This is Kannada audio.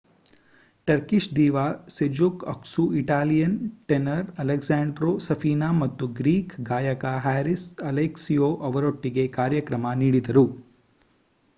Turkish diva Sezen Aksu Italian tenor Alessandro Safina ಮತ್ತು ಗ್ರೀಕ್ ಗಾಯಕ ಹ್ಯಾರಿಸ್ ಅಲೆಕ್ಸಿಯೊ ಅವರೊಟ್ಟಿಗೆ ಕಾರ್ಯಕ್ರಮ ನೀಡಿದರು